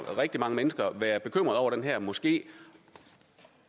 rigtig mange mennesker være bekymret over den her moské